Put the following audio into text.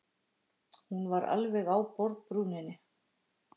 Hún var alveg á borðbrúninni.